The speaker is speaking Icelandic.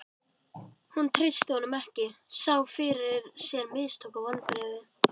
Hún treysti honum ekki, sá fyrir sér mistök og vonbrigði.